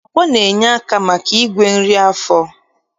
Pọpọ na-enye aka maka igwe nri n'afọ